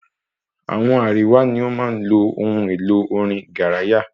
Àwọn àríwá ní o máa ń lo ohun èlo orin garaya